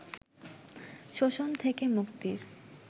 শোষণ থেকে মুক্তির